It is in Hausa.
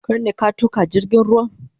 Kar ne a tuka jirgin ruwan?